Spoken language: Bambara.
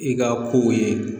I ka kow ye